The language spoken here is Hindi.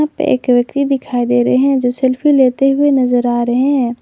एक व्यक्ति दिखाई दे रहे हैं जो सेल्फी लेते हुए नजर आ रहे हैं।